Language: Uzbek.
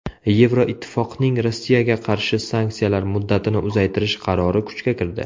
Yevroittifoqning Rossiyaga qarshi sanksiyalar muddatini uzaytirish qarori kuchga kirdi.